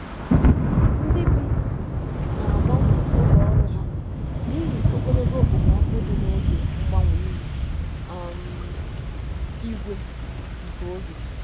Ndị bi na-agbanwe oge ọrụ ha n'ihi ogologo okpomọkụ dị n'oge mgbanwe ihu um igwe nke oge.